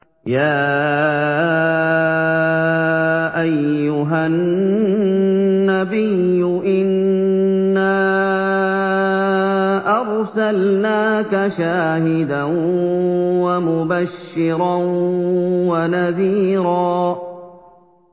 يَا أَيُّهَا النَّبِيُّ إِنَّا أَرْسَلْنَاكَ شَاهِدًا وَمُبَشِّرًا وَنَذِيرًا